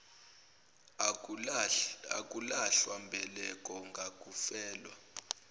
akulahlwa mbeleko ngakufelwa